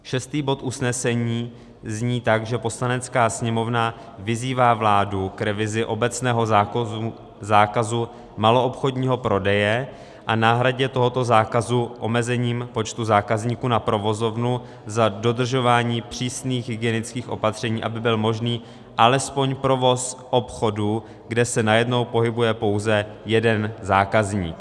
Šestý bod usnesení zní tak, že Poslanecká sněmovna vyzývá vládu k revizi obecného zákazu maloobchodního prodeje a náhradě tohoto zákazu omezením počtu zákazníků na provozovnu za dodržování přísných hygienických opatření, aby byl možný alespoň provoz obchodu, kde se najednou pohybuje pouze jeden zákazník.